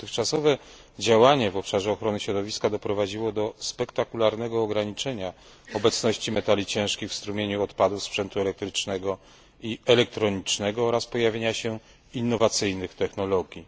Jej dotychczasowe działanie w obszarze ochrony środowiska doprowadziło do spektakularnego ograniczenia obecności metali ciężkich w strumieniu odpadów sprzętu elektrycznego i elektronicznego oraz pojawienia się innowacyjnych technologii.